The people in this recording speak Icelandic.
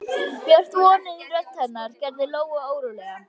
Björt vonin í rödd hennar gerði Lóu órólega.